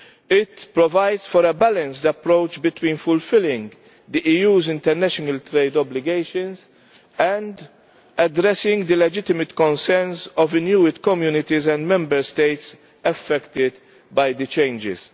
It provides for a balanced approach between fulfilling the EU's international trade obligations and addressing the legitimate concerns of Inuit communities and Member States affected by the changes.